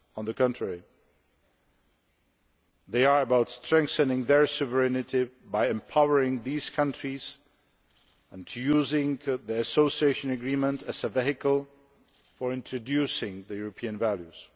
On the contrary, they are about strengthening their sovereignty by empowering these countries and using the Association Agreement as a vehicle for introducing European values.